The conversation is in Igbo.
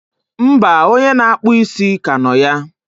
mba, onye na-akpụ isi ka nọ ya.